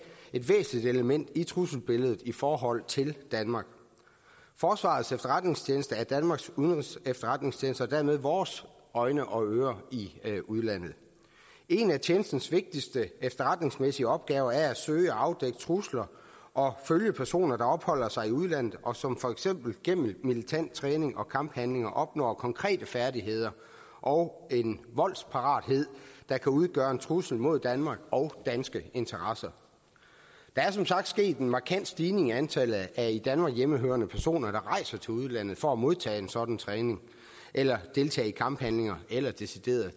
et væsentligt element i trusselsbilledet i forhold til danmark forsvarets efterretningstjeneste er danmarks udenrigsefterretningstjeneste og dermed vores øjne og ører i udlandet en af tjenestens vigtigste efterretningsmæssige opgaver er at søge og afdække trusler og følge personer der opholder sig i udlandet og som for eksempel gennem militær træning og kamphandlinger opnår konkrete færdigheder og en voldsparathed der kan udgøre en trussel mod danmark og danske interesser der er som sagt sket en markant stigning i antallet af i danmark hjemmehørende personer der rejser til udlandet for at modtage en sådan træning eller deltage i kamphandlinger eller deciderede